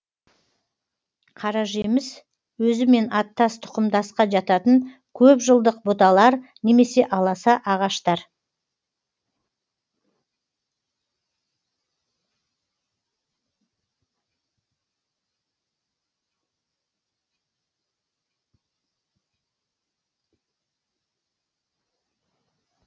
қаражеміс өзімен аттас тұқымдасқа жататын көп жылдық бұталар немесе аласа ағаштар